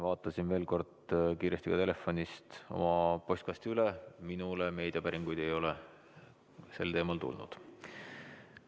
Vaatasin veel kord kiiresti ka telefonist oma postkasti üle, minule meediapäringuid ei ole sel teemal tulnud.